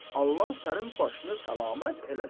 Allah sənin başını səlamət eləsin.